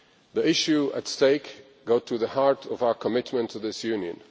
The issues at stake go to the heart of our commitment to this Union.